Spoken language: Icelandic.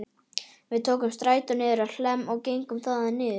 Við tókum strætó niður á Hlemm og gengum þaðan niður